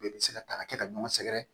Bɛɛ bɛ se ka ta ka kɛ ka ɲɔgɔn sɛgɛrɛ